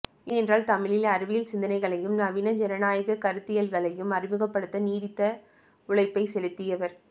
ஏனென்றால் தமிழில் அறிவியல் சிந்தனைகளையும் நவீன ஜனநாயகக் கருத்தியல்களையும் அறிமுகப்படுத்த நீடித்த உழைப்பைச் செலுத்தியவர்